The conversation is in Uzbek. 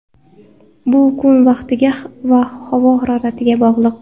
Bu kun vaqtiga va havo haroratiga bog‘liq.